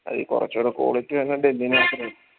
അതിന് കൊറച്ചൂട quality